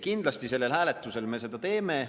Kindlasti sellel hääletusel me seda teeme.